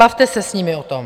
Bavte se s nimi o tom.